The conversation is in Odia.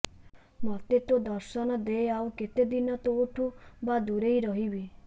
ମୋତେ ତୋ ଦର୍ଶନ ଦେ ଆଉ କେତେ ଦିନ ତୋଠୁ ବା ଦୂରେଇ ରହିବି